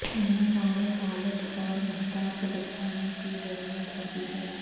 انہیں کامل حالت اور محتاط بچھانے کی ضرورت ہوتی ہے